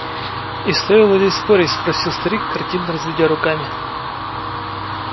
и стоило ли спорить спросил старик картинно разведя руками